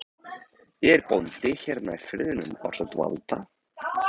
Ég er bóndi hérna í firðinum ásamt Valda